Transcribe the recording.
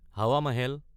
Hawa Mahal